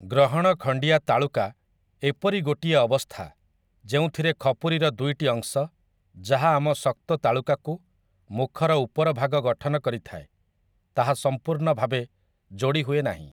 ଗ୍ରହଣ ଖଣ୍ଡିଆ ତାଳୁକା ଏପରି ଗୋଟିଏ ଅବସ୍ଥା, ଯେଉଁଥିରେ ଖପୁରିର ଦୁଇଟି ଅଂଶ, ଯାହା ଆମ ଶକ୍ତ ତାଳୁକାକୁ, ମୁଖର ଉପର ଭାଗ ଗଠନ କରିଥାଏ, ତାହା ସମ୍ପୂର୍ଣ୍ଣ ଭାବେ ଯୋଡ଼ି ହୁଏ ନାହିଁ ।